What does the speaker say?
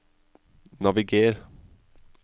naviger